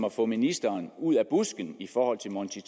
at få ministeren ud af busken i forhold til monti